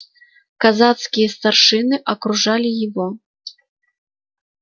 казацкие старшины окружали его